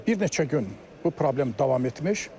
Bir neçə gün bu problem davam etmiş.